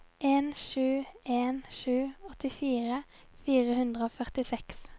en sju en sju åttifire fire hundre og førtiseks